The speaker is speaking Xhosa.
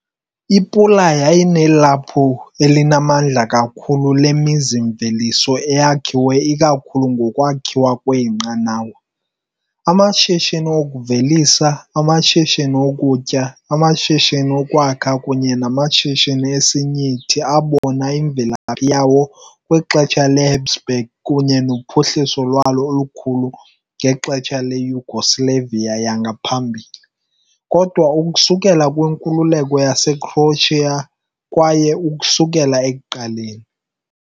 I-Pula yayinelaphu elinamandla kakhulu lemizi-mveliso eyakhiwe ikakhulu ngokwakhiwa kweenqanawa, amashishini okuvelisa, amashishini okutya, amashishini okwakha kunye namashishini esinyithi abona imvelaphi yawo kwixesha leHabsburg kunye nophuhliso lwalo olukhulu ngexesha leYugoslavia yangaphambili, kodwa ukusukela kwinkululeko yaseCroatia kwaye ukusukela ekuqaleni.